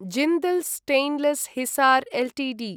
Jindal stainless Hisar Ltd